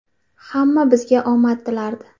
Hamma bizga omad tilardi.